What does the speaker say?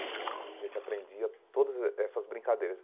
A gente aprendia todas eh essas brincadeiras.